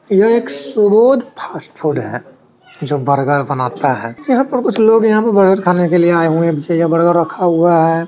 यह एक Subodh fast food हैं जो बर्गर बनाता हैं यहां पर कुछ लोग यहाँ पर बर्गर खाने के लिए आए हुए हैं पीछे बर्गर रखा हुआ हैं।